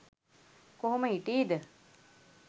කොහොම හිටී ද?